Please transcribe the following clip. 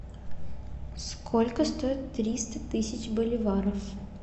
сколько стоит триста тысяч боливаров